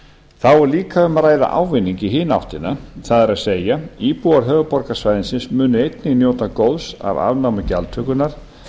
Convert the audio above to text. þá er líka um að ræða ávinning í hina áttina það er að segja íbúar höfuðborgarsvæðisins munu einnig njóta góðs af afnámi gjaldtökunnar